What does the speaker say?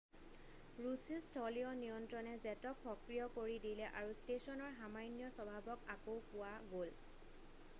ৰুছী স্থলীয় নিয়ন্ত্ৰণে জেটক সক্ৰিয় কৰি দিলে আৰু ষ্টেচনৰ সামান্য স্বভাৱক আকৌ পোৱা গ'ল